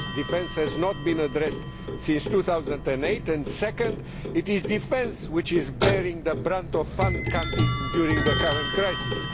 First, defence has not been addressed since 2008, and second, it is defence which is bearing the brunt of fund cutting during the current crisis.